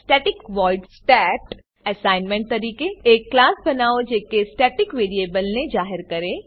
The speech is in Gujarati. સ્ટેટિક વોઇડ stat એસાઇનમેંટ તરીકે એક ક્લાસ બનાવો જે કે સ્ટેટિક વેરીએબલને જાહેર કરે